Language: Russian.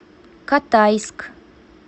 катайск